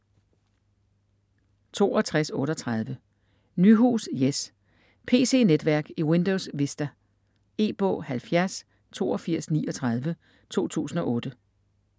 62.38 Nyhus, Jes: Pc-netværk i Windows Vista E-bog 708239 2008.